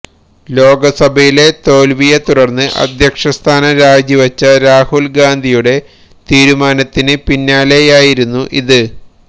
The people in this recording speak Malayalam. ലോക്സഭയിലെ തോല്വിയെ തുടര്ന്ന് അധ്യക്ഷസ്ഥാനം രാജിവച്ച രാഹുല് ഗാന്ധിയുടെ തീരുമാനത്തിന് പിന്നാലെയായിരുന്നു ഇത്